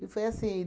E foi assim.